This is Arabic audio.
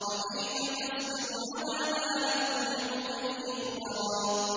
وَكَيْفَ تَصْبِرُ عَلَىٰ مَا لَمْ تُحِطْ بِهِ خُبْرًا